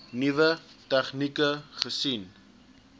nuwe tegnieke gesien